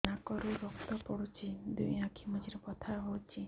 ନାକରୁ ରକ୍ତ ପଡୁଛି ଦୁଇ ଆଖି ମଝିରେ ବଥା ହଉଚି